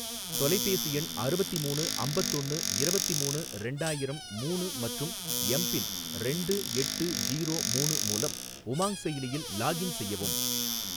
தொலைபேசி எண் அறுவத்திமூணு அம்பத்தொன்னு இரவத்திமூணு ரெண்டாயிரம் மூணு மற்றும் எம் பின் ரெண்டு எட்டு ஜீரோ மூணு மூலம் உமாங் செயலியில் லாக்இன் செய்யவும்